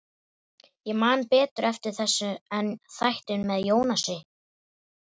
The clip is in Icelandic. Ég man betur eftir þessu en þættinum með Jónasi.